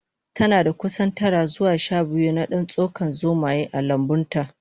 Tanada kusan tara zuwa shabiyu na dan tsakon zomaye a lambunta